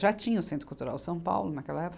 Já tinha o Centro Cultural São Paulo naquela época.